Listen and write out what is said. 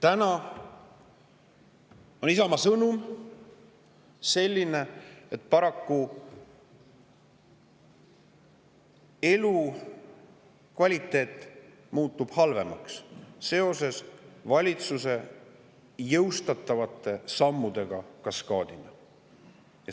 Täna on Isamaa sõnum selline, et paraku muutub elukvaliteet seoses valitsuse jõustatavate sammude kaskaadiga halvemaks.